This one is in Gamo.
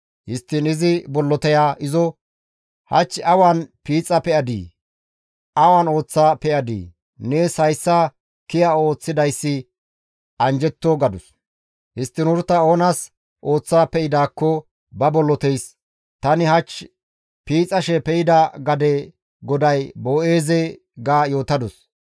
Histtiin izi bolloteya izo, «Hach awan piixa pe7adii? Awan ooththa pe7adii? Nees hayssa kiya ooththidayssi anjjetto» gadus. Histtiin Uruta oonas ooththa pe7idaakko ba bolloteys, «Tani hach piixashe pe7ida gade goday Boo7eeze» ga yootadus.